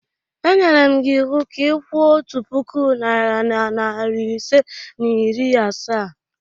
E nyere m gị iwu ka ị kwụọ otu puku naịra na narị ise na iri asaa!